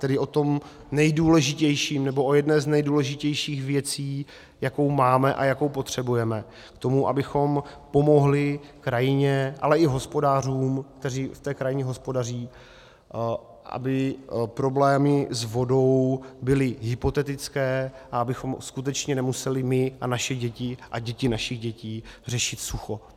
Tedy o tom nejdůležitějším, nebo o jedné z nejdůležitějších věcí, jakou máme a jakou potřebujeme k tomu, abychom pomohli krajině, ale i hospodářům, kteří v té krajině hospodaří, aby problémy s vodou byly hypotetické a abychom skutečně nemuseli my a naše děti a děti našich dětí řešit sucho.